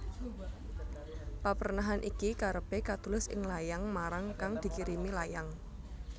Paprenahan iki karepe katulis ing layang marang kang dikirimi layang